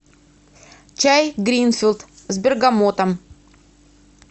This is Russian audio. чай гринфилд с бергамотом